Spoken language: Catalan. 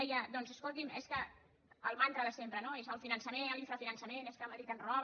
deia doncs escolti’m és que el mantra de sempre és el finançament l’infrafinançament és que madrid ens roba